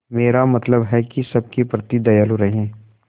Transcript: मेरा मतलब है कि सबके प्रति दयालु रहें